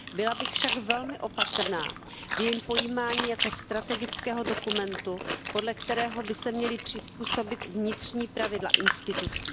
Byla bych však velmi opatrná v jejím pojímání jako strategického dokumentu, podle kterého by se měla přizpůsobit vnitřní pravidla institucí.